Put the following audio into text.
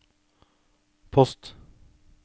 post